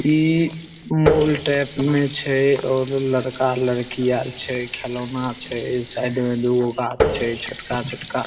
ई mall type में छे और लड़का-लडकी आर छे खिलौना छे साइड में दुगो गाछ छे छोटका-छोटका।